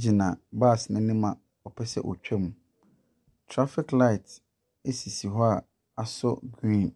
gyina bus no anim a ɔpɛ sɛ ɔtwam. Traffic light sisi hɔ a asɔ green.